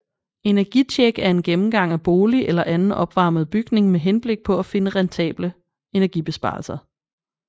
Energitjek er en gennemgang af bolig eller anden opvarmet bygning med henblik på at finde rentable energibesparelser